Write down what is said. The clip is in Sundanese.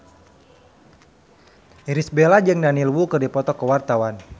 Irish Bella jeung Daniel Wu keur dipoto ku wartawan